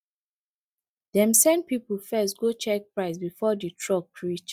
dem send people first go check price before the truck reach